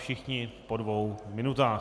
Všichni po dvou minutách.